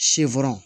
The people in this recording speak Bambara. Sɛfan